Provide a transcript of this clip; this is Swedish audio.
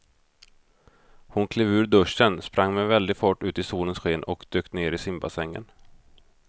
Hon klev ur duschen, sprang med väldig fart ut i solens sken och dök ner i simbassängen.